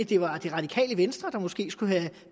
det var det radikale venstre der måske skulle have